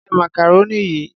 Jẹ macaroni yìí.